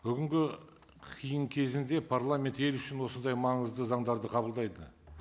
бүгінгі қиын кезеңде парламент ел үшін осындай маңызды заңдарды қабылдайды